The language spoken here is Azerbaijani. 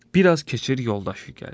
Bir az keçir yoldaşı gəlir.